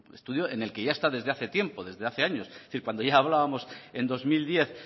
estudio en el que ya está desde hace tiempo desde hace años es decir cuando ya hablábamos en dos mil diez